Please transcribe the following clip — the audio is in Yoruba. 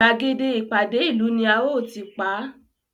Gbàgede ìpàdé ìlú ni a óò tí pa á